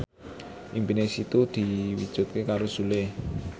impine Siti diwujudke karo Sule